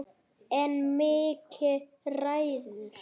En Mikki ræður.